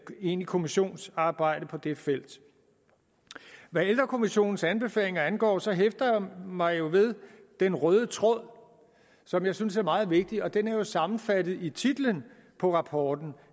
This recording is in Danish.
egentligt kommissionsarbejde på det felt hvad ældrekommissionens anbefalinger angår så hæfter jeg mig ved den røde tråd som jeg synes er meget vigtig og den er sammenfattet i titlen på rapporten